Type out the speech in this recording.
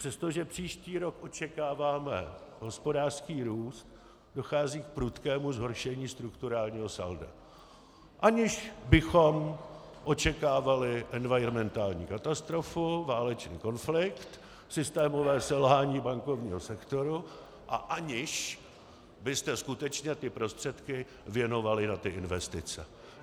Přestože příští rok očekáváme hospodářský růst, dochází k prudkému zhoršení strukturálního salda, aniž bychom očekávali environmentální katastrofu, válečný konflikt, systémové selhání bankovního sektoru a aniž byste skutečně ty prostředky věnovali na ty investice.